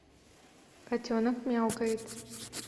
котенок мяукает